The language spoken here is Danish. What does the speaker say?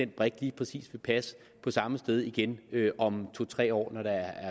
brik lige præcis vil passe på samme sted igen om to tre år når der